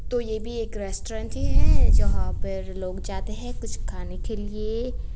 तो ये भी एक रेस्टोरेंट ही है यहां पर लोग जाते हैं कुछ खाने के लिए।